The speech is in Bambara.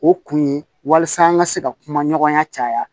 O kun ye walasa an ka se ka kuma ɲɔgɔnya caya